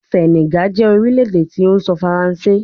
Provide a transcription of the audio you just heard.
Senegal jẹ orilẹ-ede ti o sọ Faranse